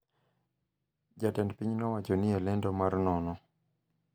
Jatend piny nowacho ni e lendo mar nono,